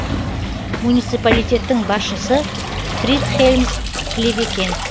муниципалитеттің басшысы фридхельм клевекен